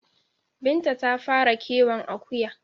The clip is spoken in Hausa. Binta ta fara kiwon Akuya